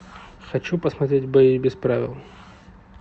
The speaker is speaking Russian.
хочу посмотреть бои без правил